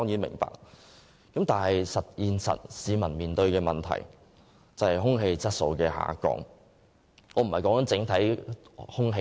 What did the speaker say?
不過，現實卻是市民面對的問題是空氣質素每況愈下。